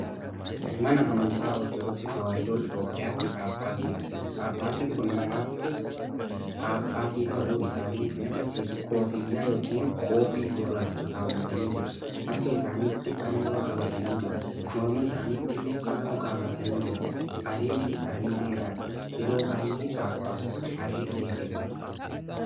Mana amantaa Orotodoksii Tewaayidoo Itoophiyaatti Phaaphaasiidha. Phaaphaasiin kun mataatti phaphaasii ta'uu isaanii kan agarsiisuu koffiyyaa yookin qoobii gurraacha kaawwatanii jiru. harka isaanitti Fannoo qabatanii jiru. Morma isaanittillee Fannoo kaawwatanii jiru. Areedi isaanii dheeradha. Yeroo baay'ee phaapaasonni areeda dheereffatu.